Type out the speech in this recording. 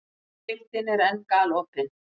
Deildin er enn galopin